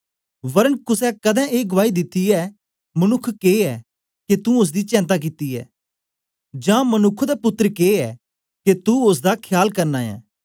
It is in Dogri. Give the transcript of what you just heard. वरन कुसे कदें ए गुआई दिती ऐ मनुक्ख के ऐ के तुं ओसदी चेंता कित्ती ऐ जां मनुक्ख दा पुत्तर के ऐ के तू ओसदा खयाल करना ऐ